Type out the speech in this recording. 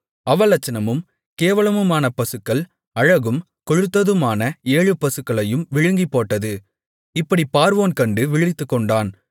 அவலட்சணமும் கேவலமுமான பசுக்கள் அழகும் கொழுத்ததுமான ஏழு பசுக்களையும் விழுங்கிப்போட்டது இப்படிப் பார்வோன் கண்டு விழித்துக்கொண்டான்